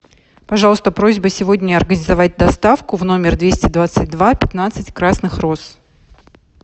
пожалуйста просьба сегодня организовать доставку в номер двести двадцать два пятнадцать красных роз